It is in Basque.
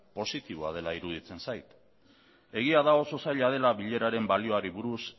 positiboa dela iruditzen zait egia da oso zaila dela bileraren balioari buruz